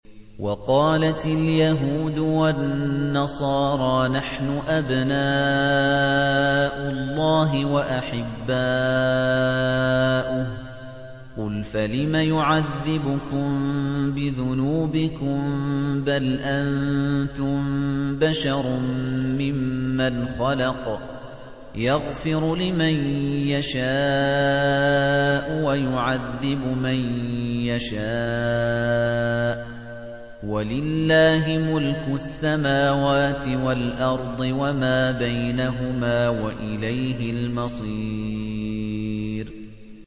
وَقَالَتِ الْيَهُودُ وَالنَّصَارَىٰ نَحْنُ أَبْنَاءُ اللَّهِ وَأَحِبَّاؤُهُ ۚ قُلْ فَلِمَ يُعَذِّبُكُم بِذُنُوبِكُم ۖ بَلْ أَنتُم بَشَرٌ مِّمَّنْ خَلَقَ ۚ يَغْفِرُ لِمَن يَشَاءُ وَيُعَذِّبُ مَن يَشَاءُ ۚ وَلِلَّهِ مُلْكُ السَّمَاوَاتِ وَالْأَرْضِ وَمَا بَيْنَهُمَا ۖ وَإِلَيْهِ الْمَصِيرُ